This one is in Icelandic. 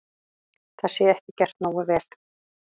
Það sé ekki gert nógu vel.